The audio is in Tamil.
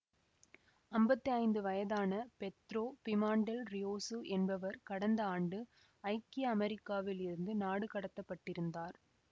அம்பத்தி ஐந்து வயதான பெத்ரோ பிமாண்டெல் ரியோசு என்பவர் கடந்த ஆண்டு ஐக்கிய அமெரிக்காவில் இருந்து நாடு கடத்தப்பட்டிருந்தார்